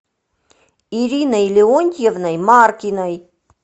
ириной леонтьевной маркиной